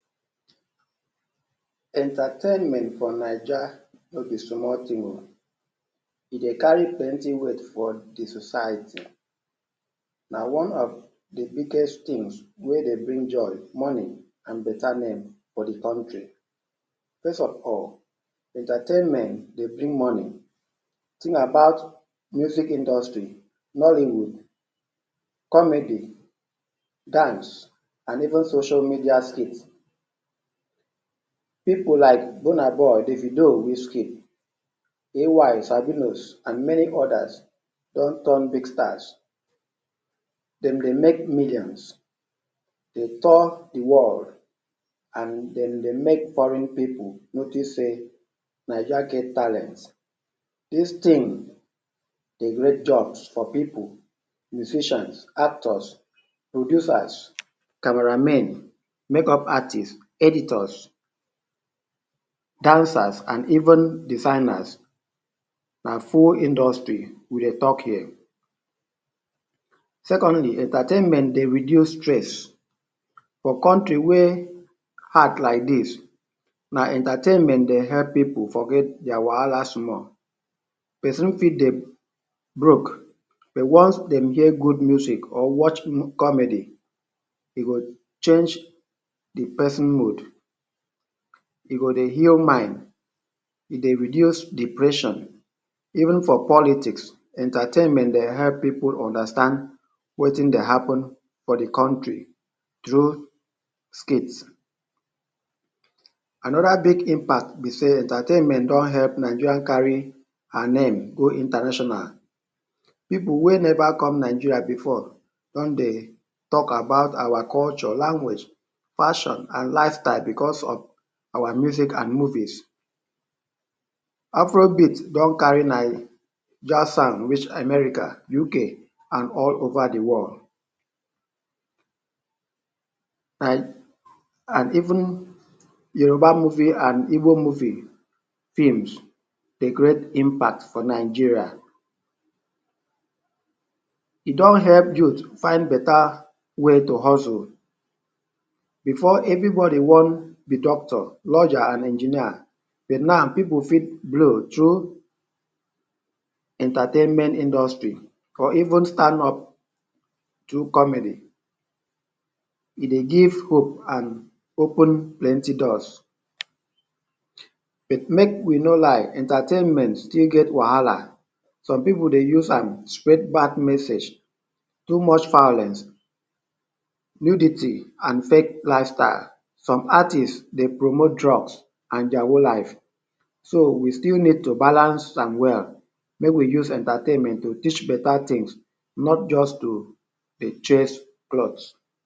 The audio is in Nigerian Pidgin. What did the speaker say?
Entertainment for Naija no be small thing oo, e go carry plenty weight for de society. Na one of de biggest things wey dey bring joy, money and better name for de country. First of all, entertainment dey bring money. Thing about music industry, nollywood, comedy, dance and even social media skit. Pipu like Burnaboy, Davido, WizKid, AY, Sabinus and many others don turn big stars. Dem dey make millions, dey tour de world and dem dey make foreign pipu notice sey Naija get talents. Dis thing dey create jobs for pipu, musicians, actors, producers, camera men, makeup artists, editors, dancers and even designers. Na full industry we dey talk here. Secondly, entertainment dey reduce stress. For country wey hard like dis, na entertainment dey help pipu forget their wahala small. Person fit dey broke but once dem hear good music or watch comedy, e go change de person mood. E go dey heal mind, e go reduce depression. Even for politics, entertainment dey help pipu understand wetin dey happen for de country through skits. Another big impact be sey entertainment don help Nigeria carry her name go international. Pipu wey never come Nigeria before don dey talk about our culture, language, passion and lifestyle because of our music and movies. Afrobeat don carry Naija sound reach America, UK and all over de world. And and even Yoruba movie and Igbo movie films dey create impact for Nigeria. E don help youth find better way to hustle. Before everybody wan be doctor, lawyer and engineer but now pipu fit blow through entertainment industry or even stand up through comedy. E dey give hope and open plenty doors. But make we no lie entertainment still get wahala, some pipu dey use am spread bad message. Too much violence, nudity and fake lifestyle. Some artist dey promote drugs and their own life. So we still need to balance am well make we use entertainment to teach better things not just to dey chase clout.